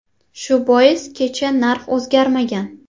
– Shu bois kecha narx o‘zgarmagan.